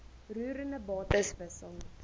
roerende bates wissel